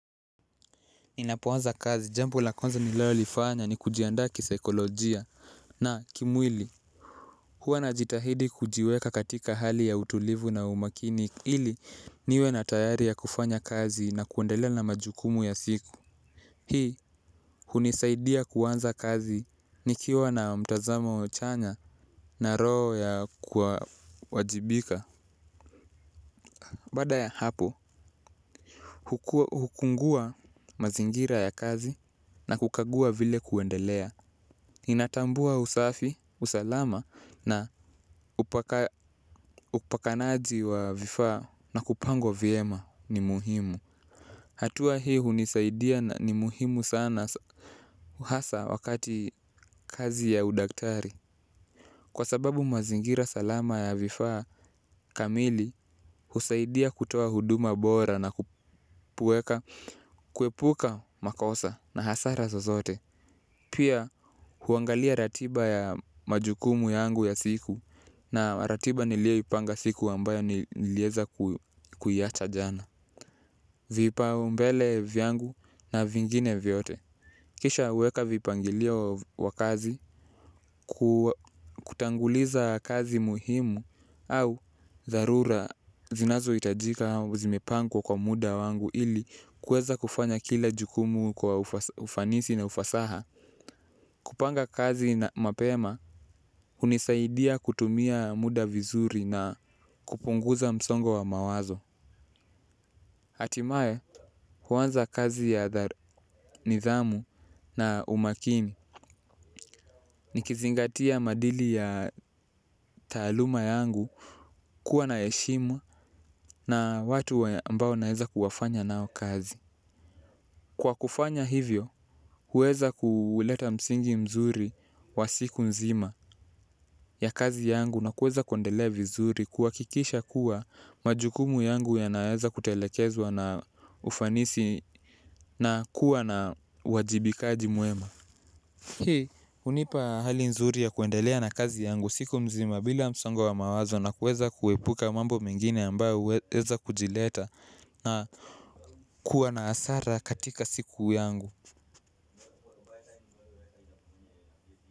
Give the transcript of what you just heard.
Ninapoanza kazi jambo la kwanza ninayo lifanya ni kujianda kisaikolojia na kimwili huwa najitahidi kujiweka katika hali ya utulivu na umakini ili niwe na tayari ya kufanya kazi na kuendelea na majukumu ya siku. Hii hunisaidia kuanza kazi nikiwa na mtazamo chanya na roho ya kuwa wajibika baada ya hapo hukungua mazingira ya kazi na kukagua vile kuendelea. Inatambua usafi, usalama na upakanaji wa vifaa na kupangwa viema ni muhimu. Hatua hii hunisaidia ni muhimu sana hasa wakati kazi ya udaktari. Kwa sababu mazingira salama ya vifaa, kamili husaidia kutoa huduma bora na kupueka, kuepuka makosa na hasara zozote. Pia, huangalia ratiba ya majukumu yangu ya siku na ratiba nilio ipanga siku ambayo nilieza kuiacha jana. Vipau mbele vyangu na vingine vyote. Kisha weka vipangilio wa kazi, kutanguliza kazi muhimu au dharura zinazo itajika au zimepangwa kwa muda wangu ili kueza kufanya kila jukumu kwa ufanisi na ufasaha. Kupanga kazi na mapema hunisaidia kutumia muda vizuri na kupunguza msongo wa mawazo hatimae huanza kazi ya nidhamu na umakini. Nikizingatia maadili ya taaluma yangu kuwa na heshima na watu ambao naeza kuwafanya nao kazi. Kwa kufanya hivyo huweza kuleta msingi mzuri wa siku nzima ya kazi yangu na kuweza kuendelea vizuri kuhakikisha kuwa majukumu yangu yanaeza kutelekezwa na ufanisi na kuwa na uwajibikaji mwema. Hii hunipa hali nzuri ya kuendelea na kazi yangu siku mzima bila msongo wa mawazo na kuweza kuepuka mambo mengine ambayo huweza kujileta na kuwa na asara katika siku yangu.